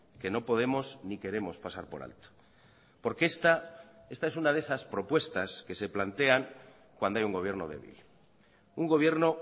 que no podemos ni queremos pasar por alto porque esta esta es una de esas propuestas que se plantean cuando hay un gobierno débil un gobierno